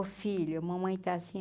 Ô filho, a mamãe está assim,